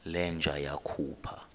le nja yakhupha